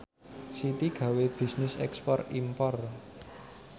Siti gawe bisnis ekspor impor